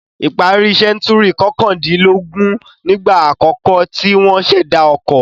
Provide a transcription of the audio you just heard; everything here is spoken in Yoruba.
Ìparí sẹ́ńtúrì kọkàndínlógún nígbà àkọ́kọ́ tí wọ́n ṣẹ̀dá ọkọ.